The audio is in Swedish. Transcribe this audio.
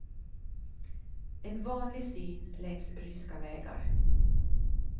En vanlig syn längs ryska vägar.